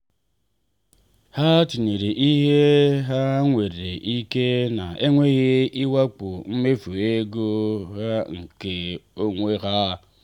ha tinyere ihe ha nwere ike na-enweghị ịwakpo mmefu ego ha nke onwe ha.